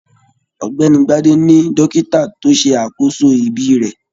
Ọ̀gbẹ́ni Gbade ní dókítà to ṣe àkóso ibí rẹ